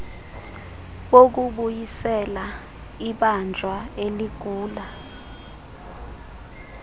bokubuyisela ibanjwa eligula